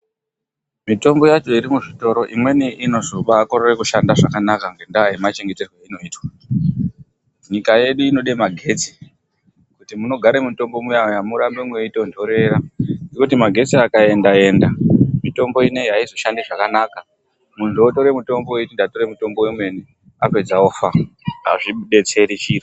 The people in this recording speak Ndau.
Mitombo yacho iri muzvitoro imweni inozobakorore kushanda zvakanaka ngendaa yemachengeterwe ainoitwa. Nyika yedu inode magetsi kuti munogare mutombo muya muya murambe meitondorera, nekuti magetsi akaenda enda mitombo inoi aizoshandi zvakanaka, muntu atore mutombo eiti ndatora mutombo womene apedza ofa. Azvibetseri chiro